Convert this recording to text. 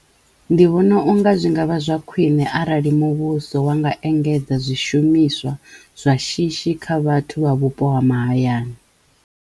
Ndi vhona unga zwi ngavha zwa khwine arali muvhuso wa nga engedza zwishumiswa zwa shishi kha vhathu vha vhupo ha mahayani.